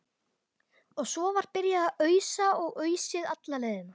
Og svo var byrjað að ausa og ausið alla leiðina.